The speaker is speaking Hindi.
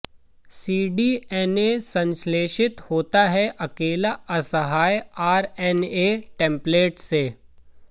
सीडीएनए संश्लेषित होता है अकेला असहाय आरएनए टेम्पलेट से